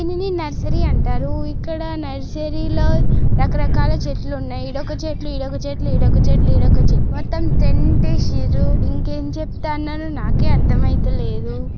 దీనిని నర్సరీ అంటారు ఇక్కడ నర్సరీ లో రక రకాల చెట్లు ఉన్నాయి ఇడోక చెట్లు ఇడోక చెట్లు ఇడోక చెట్లు ఇడొక చెట్ మొత్తం టెంట్ వేసిన్రు ఇంకేం చెప్తనను నాకే అర్ధం అయితులేదు.